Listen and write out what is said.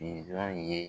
Ye